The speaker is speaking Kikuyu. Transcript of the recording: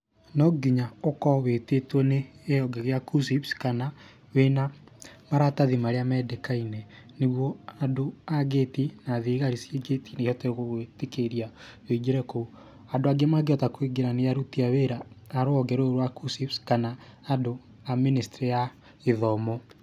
No nginya ũkorwo wĩtĩtwo nĩ kĩhonge gĩa KUCCPS kana wĩna maratathi marĩa mendekaine, nĩguo andũ a ngĩti na thigari ciĩ ngĩti-inĩ cihote gũgwĩtĩkĩria wĩingĩre kũu. Andũ angĩ mangĩhota kũingĩra nĩ aruti a wĩra a rũhonge rũu rwa KUCCPS kana andũ a ministry ya gĩthomo.